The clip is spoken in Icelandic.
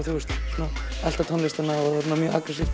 elta tónlistina